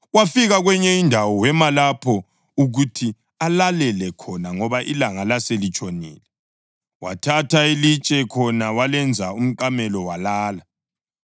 Wafika kwenye indawo, wema lapho ukuthi alale khona ngoba ilanga laselitshonile. Wathatha ilitshe khona walenza umqamelo walala.